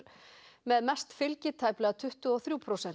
með mest fylgi tæplega tuttugu og þrjú prósent